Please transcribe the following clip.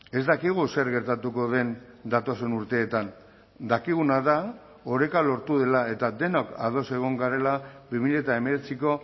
ez dakigu zer gertatuko den datozen urteetan dakiguna da oreka lortu dela eta denok ados egon garela bi mila hemeretziko